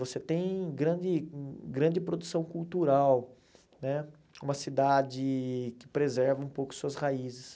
Você tem grande grande produção cultural né, uma cidade que preserva um pouco suas raízes.